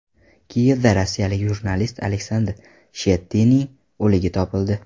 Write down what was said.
Kiyevda rossiyalik jurnalist Aleksandr Shchetininning o‘ligi topildi.